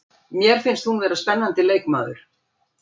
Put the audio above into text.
Mér finnst hún vera spennandi leikmaður.